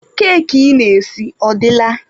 Keki ị na-esi ọ dịla?